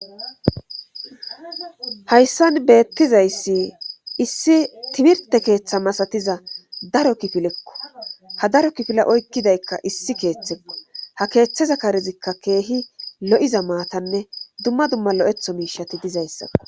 hayssan beettizayssi issi timirte keeththa masatiza daro kifilekko ha daro kifila oykkidaykka issi keeththekko ha keeththeza karezikka keehi lo7iza maatanne dumma dumma lo7etho miishati dizayssako